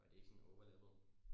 Og det ikke sådan overlappede